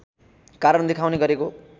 कारण देखाउने गरेको